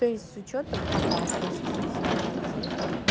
то есть с учётом опасности ситуации